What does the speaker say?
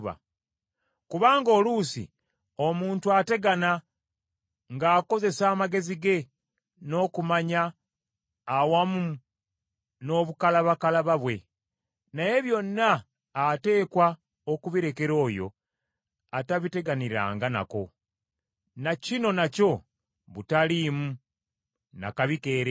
Kubanga oluusi omuntu ategana ng’akozesa amagezi ge n’okumanya awamu n’obukalabakalaba bwe, naye byonna ateekwa okubirekera oyo atabiteganiranga nako. Na kino nakyo butaliimu na kabi keereere.